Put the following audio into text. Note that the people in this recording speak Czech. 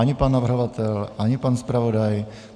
Ani pan navrhovatel, ani pan zpravodaj.